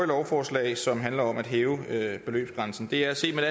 lovforslag som handler om at hæve beløbsgrænsen det er set med